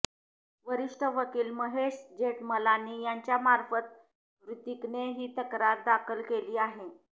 वरिष्ठ वकील महेश जेठमलानी यांच्यामार्फत ह्रितीकने ही तक्रार दाखल केली आहे